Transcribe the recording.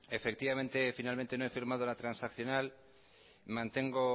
efectivamente finalmente no he firmado la transaccional mantengo